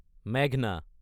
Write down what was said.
মেঘনা